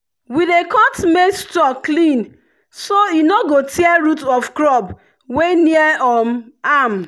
we dey cut maize stalk clean so e no go tear root of crop wey near um am.